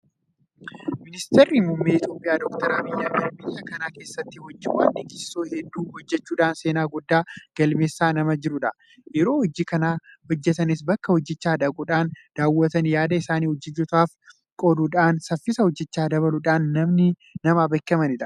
Miniistirri muummee Itoophiyaa Doktar Abiy Ahimed biyya kana keessatti hojiiwwan dinqisiisoo hedduu hojjechuudhaan seenaa guddaa galmeessaa nama jirudha. Yeroo hojii kana hojjetanis bakka hojichaa dhaquudhaan daawwatanii yaada isaanii hojjettootaaf qooduudhaan saffisa hojichaa dabaluudhaan nama beekamudha.